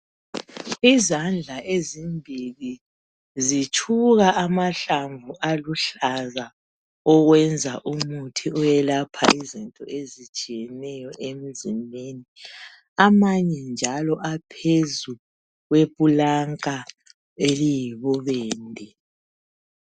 Izandla ezimbili zitshuka amahlamvu aluhlaza owenza umuthi oyelapha izinto ezitshiyeneyo emzimbeni. Amanye njalo aphezulu kweplanka eliyibubende.